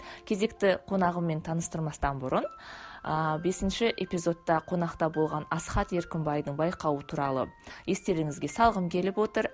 кезекті қонағыммен таныстырмастан бұрын ыыы бесінші эпизодта қонақта болған асхат еркімбайдың байқауы туралы естеріңізге салғым келіп отыр